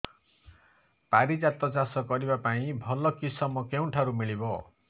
ପାରିଜାତ ଚାଷ କରିବା ପାଇଁ ଭଲ କିଶମ କେଉଁଠାରୁ ମିଳିବ